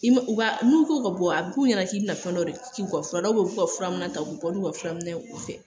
ka bɔ a b'u ɲɛna k'i bɛna fɛn dɔ de k'u ka fura la, u b'u ka furaminɛn k'u bɛ bɔ n'u ka fura minɛn ye u fɛ!